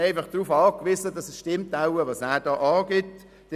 Man ist schlicht darauf angewiesen, dass seine Angaben stimmen.